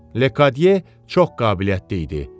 Lediye çox qabiliyyətli idi.